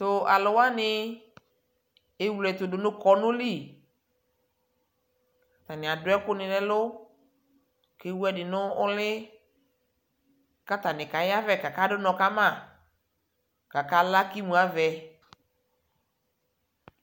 tʋ alʋ wani ɛwlɛ ɛtʋ dʋnʋ kɔnʋ li, atani adʋ ɛkʋni nʋ ɛlʋ kʋ ɛwʋ ɛdi nʋ ʋli kʋ atanikaya avɛ kʋ aka dʋnɔ kama kʋ aka la kʋ imʋ aɣaɛ